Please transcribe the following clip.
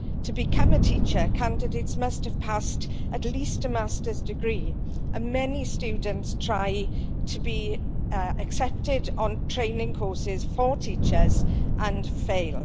To become a teacher, candidates must have passed at least a master's degree, and many students try to be accepted on training courses for teachers and fail.